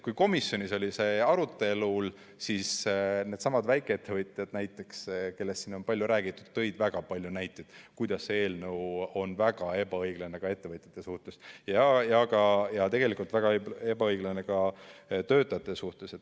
Kui komisjonis oli see arutelul, siis needsamad väikeettevõtjad näiteks, kellest siin on palju räägitud, tõid väga palju näiteid, kuidas see eelnõu on väga ebaõiglane ka ettevõtjate suhtes ja tegelikult väga ebaõiglane ka töötajate suhtes.